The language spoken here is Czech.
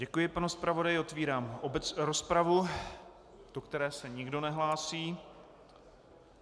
Děkuji panu zpravodaji, otevírám rozpravu, do které se nikdo nehlásí.